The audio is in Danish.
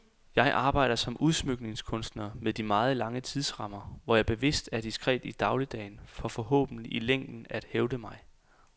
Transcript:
Jeg arbejder som udsmykningskunstner med de meget lange tidsrammer, hvor jeg bevidst er diskret i dagligdagen for forhåbentlig i længden at hævde mig.